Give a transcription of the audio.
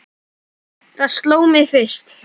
Það sló mig fyrst.